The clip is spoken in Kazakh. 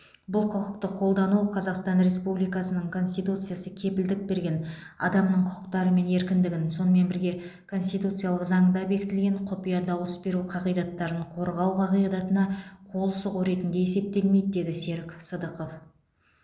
бұл құқықты қолдану қазақстан республикасының конституциясы кепілдік берген адамның құқықтары мен еркіндігін сонымен бірге конституциялық заңда бекітілген құпия дауыс беру қағидаттарын қорғау қағидатына қол сұғу ретінде есептелмейді деді серік сыдықов